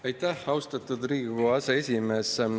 Aitäh, austatud Riigikogu aseesimees!